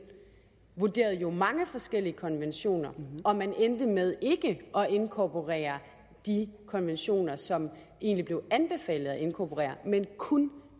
vurderede jo mange forskellige konventioner og man endte med ikke at inkorporere de konventioner som det egentlig blev anbefalet at inkorporere men kun